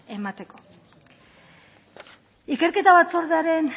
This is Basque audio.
emateko ikerketa batzordearen